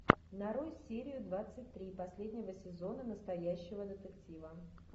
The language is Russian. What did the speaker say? нарой серию двадцать три последнего сезона настоящего детектива